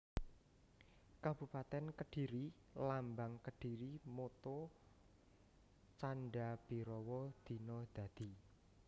Kabupatèn KedhiriLambang KedhiriMotto Canda bhirawa Dina Dadi